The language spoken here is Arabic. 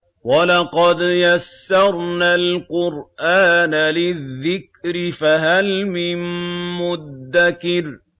وَلَقَدْ يَسَّرْنَا الْقُرْآنَ لِلذِّكْرِ فَهَلْ مِن مُّدَّكِرٍ